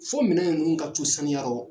Fo minɛ ninnu ka to saniya rɔ